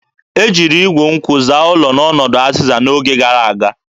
E jiri igwu nkwụ zaa ụlọ n'ọnọdụ azịza n'oge gara aga.